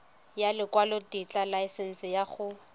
ya lekwalotetla laesense ya go